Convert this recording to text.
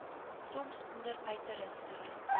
soms onder uiterste